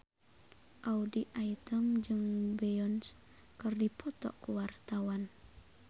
Audy Item jeung Beyonce keur dipoto ku wartawan